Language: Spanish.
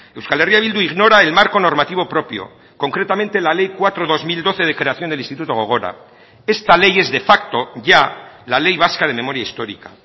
euskal herria bildu ignora el marco normativo propio concretamente la ley cuatro barra dos mil doce de creación del instituto gogora esta ley es de facto ya la ley vasca de memoria histórica